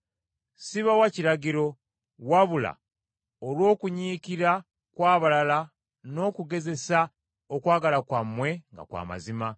Sibawa kiragiro, wabula olw’okunyiikira kw’abalala n’okugezesa okwagala kwammwe nga kw’amazima.